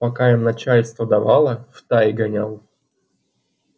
пока им начальство давало в тай гонял